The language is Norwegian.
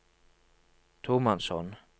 tomannshånd